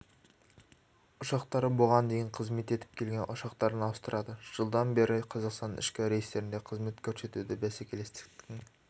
ұшақтары бұған дейін қызмет етіп келген ұшақтарын ауыстырады жылдан бері қазақстан ішкі рейстерінде қызмет көрсетуде бәсекелестіктің